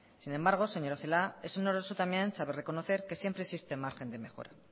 sin embargo señora celaá es honroso también saber reconocer que siempre existe margen de mejora